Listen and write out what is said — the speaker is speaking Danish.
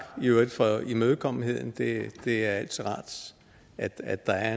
i øvrigt for imødekommenheden det det er altid rart at der er